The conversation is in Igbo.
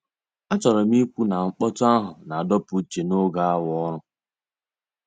Achọrọ m ikwu na mkpọtụ ahụ na-adọpụ uche n'oge awa ọrụ.